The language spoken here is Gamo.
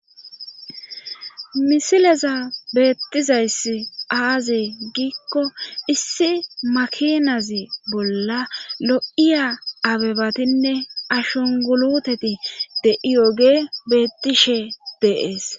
misileza beettizayss aazi giikko issi makinazi bolla lo7iya abebatinne ashunguluteti de7iyoge bettishe de7ees.